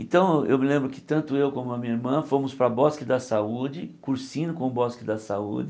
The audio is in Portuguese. Então eu me lembro que tanto eu como a minha irmã fomos para bosque da saúde, Cursino com Bosque da saúde.